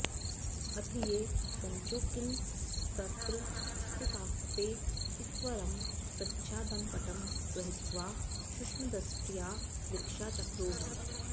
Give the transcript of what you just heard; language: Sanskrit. अथ ये कञ्चुकिनस्तत्र स्थितास्ते सत्वरं प्रच्छादनपटं गृहीत्वा सूक्ष्मदृष्ट्या वीक्षांचक्रुः